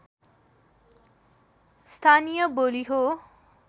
स्थानीय बोली हो